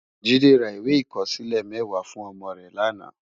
Jide rá iwé ikòsilé mèwá fún òmò rè làná